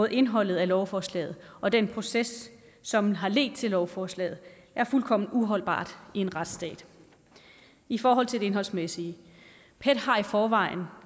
indholdet af lovforslaget og den proces som har ledt til lovforslaget er fuldkommen uholdbar i en retsstat i forhold til det indholdsmæssige pet har i forvejen